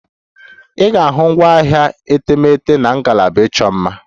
Ị ga-ahụ ngwaahịa etemeete na ngalaba ịchọ mma.